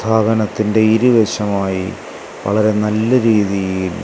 വാഹനത്തിന്റെ ഇരു വശമായി വളരെ നല്ല രീതിയിൽ--